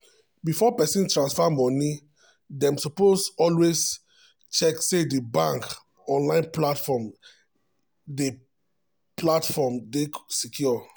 before person transfer money dem suppose always check say di bank um online platform um dey platform um dey secure.